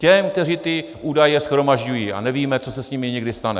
Těm, kteří ty údaje shromažďují, a nevíme, co se s nimi někdy stane.